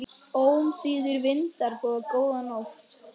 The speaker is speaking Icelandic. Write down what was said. Ómþýðir vindar boða góða nótt.